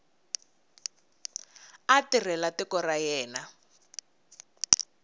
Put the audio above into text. a tirhela tiko ra yena